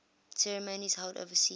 ceremonies held overseas